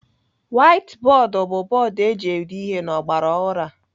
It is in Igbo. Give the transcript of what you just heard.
Waiti bọọdụ bụ bọọdụ eji ede ihe n'ọgbaraọhụrụ a.